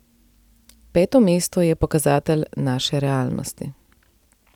Peto mesto je pokazatelj naše realnosti.